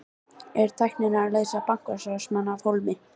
Er tæknin að leysa bankastarfsmanninn af hólmi?